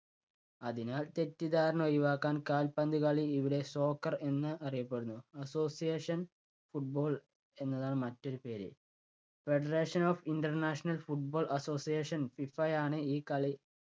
അതിനാൽ തെറ്റിദ്ധാരണ ഒഴിവാക്കാൻ കാൽപ്പന്തുകളി ഇവിടെ soccer എന്ന് അറിയപ്പെടുന്നു. association football എന്നതാണ് മറ്റൊരു പേര്. Federation of international football association ഫിഫയാണ് ഈ കളി